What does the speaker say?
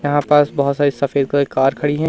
यहां पास बहोत सारी सफेद कलर की कार खड़ी हैं।